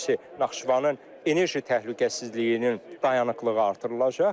Birincisi, Naxçıvanın enerji təhlükəsizliyinin dayanıklığı artırılacaq.